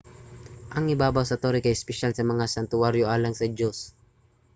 ang ibabaw sa tore kay espesyal nga santuwaryo alang sa diyos